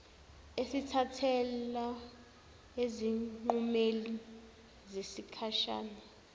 esithathelwa ezinqumeni zesikhashana